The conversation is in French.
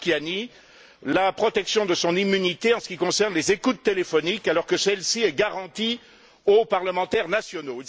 Marchiani, la protection de son immunité en ce qui concerne les écoutes téléphoniques, alors que celle ci est garantie aux parlementaires nationaux.